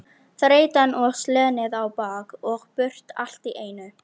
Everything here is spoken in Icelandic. Þreytan og slenið á bak og burt allt í einu.